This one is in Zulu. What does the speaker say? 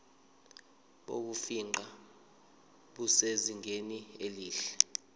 bokufingqa busezingeni elihle